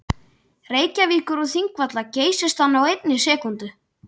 Reykjavíkur og Þingvalla geysist hann á einni sekúndu.